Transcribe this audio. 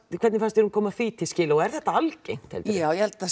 hvernig fannst þér hún koma því til skila og er þetta algengt heldurðu já ég held að